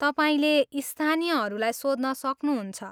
तपाईँले स्थानीयहरूलाई सोध्न सक्नुहुन्छ।